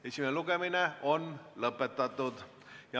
Esimene lugemine on lõpetatud.